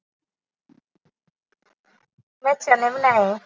ਮੈਂ ਚਨੇ ਬਣਾਏ ਆ।